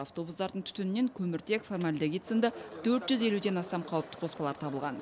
автобустардың түтінінен көміртек формальдегидсын да төрт жүз елуден астам қауіпті қоспалар табылған